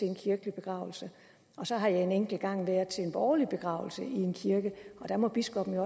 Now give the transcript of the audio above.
en kirkelig begravelse så har jeg en enkelt gang været til en borgerlig begravelse i en kirke og der måtte biskoppen